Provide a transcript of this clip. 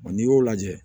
n'i y'o lajɛ